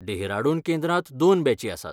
डेहराडून केंद्रांत दोन बॅची आसात.